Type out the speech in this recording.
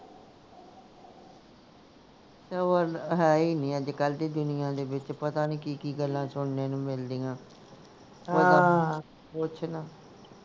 ਸਬਰ ਹੈ ਹੀ ਨਹੀਂ ਅੱਜਕਲ ਦੀ ਦੁਨੀਆਂ ਦੇ ਵਿਚ ਪਤਾ ਨਹੀਂ ਕਿ ਕਿ ਗੱਲਾਂ ਸੁਣਨੇ ਨੂੰ ਮਿਲਦੀਆਂ ਪੁੱਛ ਨਾ